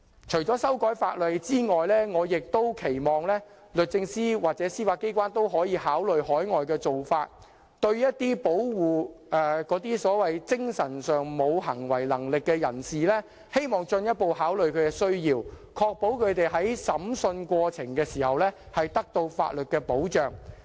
除修改法例外，我亦期望律政司或司法機關參考海外的做法，對保護精神上無行為能力的人士，進一步考慮其需要，確保他們在審訊過程中獲法律保障。